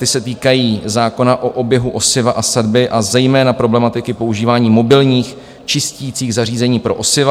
Ty se týkají zákona o oběhu osiva a sadby a zejména problematiky používání mobilních čisticích zařízení pro osiva.